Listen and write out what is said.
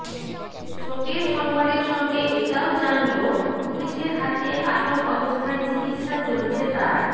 শোকের সংবাদের সঙ্গে এটাও জানলো পুলিশের হাতে আটক অবস্থায় চিকিৎসা চলছে তার